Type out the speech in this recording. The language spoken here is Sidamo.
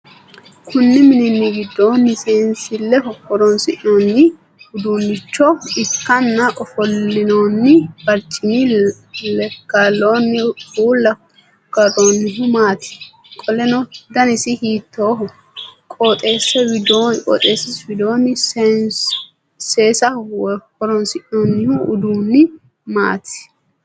Kunni minni gidoonni seensileho horoonsi'noonni uduunnicho ikanna ufolinnanni barcimi lekaloonni uula karoonnihu maati? Qoleno danisi hiittooho? Qotisi widoonni seesaho horoonsi'noonni uduunni maati?